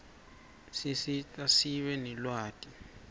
sisita sibe nelwati